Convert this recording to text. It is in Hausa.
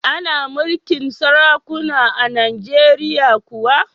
Ana mulkin sarakuna a Najeriya kuwa?